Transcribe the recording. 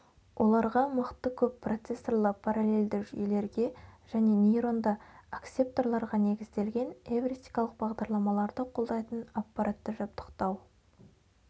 оларға мықты көп процессорлы параллельді жүйелерге және нейронды акселераторларға негізделген эвристикалық бағдарламаларды қолдайтын аппаратты жабдықтау